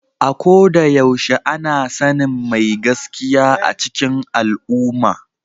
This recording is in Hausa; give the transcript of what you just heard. A ko da yaushe ana sanin mai gaskiya a cikin al’umma.